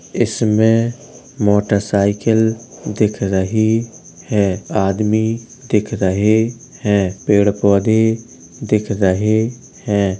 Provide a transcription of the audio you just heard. इसमें मोटरसाइकिल दिख रही है। आदमी दिख रहे हैं पेड़ पौधे दिख रहे हैं।